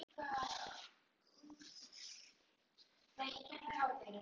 Við höfum ekki unnið í fimm leikjum í röð en við erum að spila vel